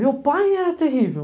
Meu pai era terrível.